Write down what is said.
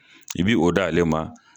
I b'i o da ale ma.